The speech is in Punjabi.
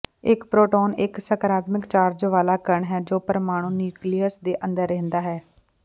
ਇੱਕ ਪ੍ਰੋਟੋਨ ਇੱਕ ਸਕਾਰਾਤਮਕ ਚਾਰਜ ਵਾਲਾ ਕਣ ਹੈ ਜੋ ਪ੍ਰਮਾਣੂ ਨਿਊਕਲੀਅਸ ਦੇ ਅੰਦਰ ਰਹਿੰਦਾ ਹੈ